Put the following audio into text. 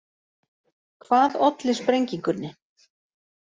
Hvað olli sprengingunni